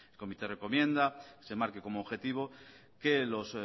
comité recomienda se marque como objetivo que los